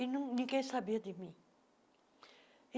E não ninguém sabia de mim.